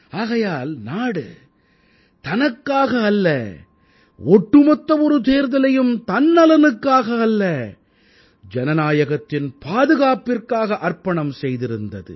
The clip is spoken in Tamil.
ஆகையால் நாடு தனக்காக அல்ல ஒட்டுமொத்த ஒரு தேர்தலையும் தன் நலனுக்காக அல்ல ஜனநாயகத்தின் பாதுகாப்பிற்காக அர்ப்பணம் செய்திருந்தது